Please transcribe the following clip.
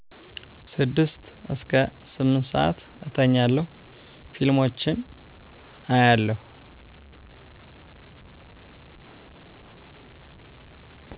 6-8ስዓት እተኛለሁ ፊልሞችን አያለው